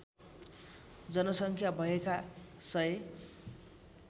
जनसङ्ख्या भएका १००